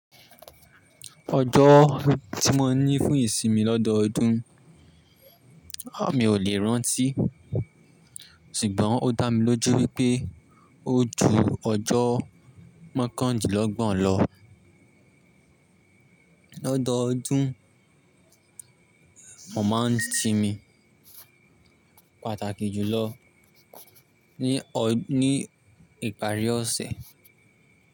Ọjọ́ tí mo ní fún ìsinmi lọ́dọọdún, a mi ò lè rántí, ṣùgbọ́n ó dá mi lójú wípé ó ju ọjọ́ mọ́kàndínlọ́gbọ̀n lọ. Lọ́dọọdún, mo máa ń sinmi pàtàkì jùlọ ní ọ ní ìparí ọ̀sẹ̀.